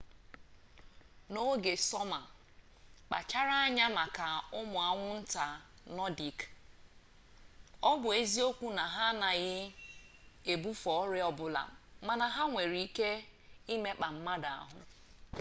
n'oge sọma kpachara anya maka ụmụ anwụnta nọdik ọ bụ eziokwu na ha anaghị ebufe ọrịa ọbụla mana ha nwere ike ịmekpa mmadụ ahụ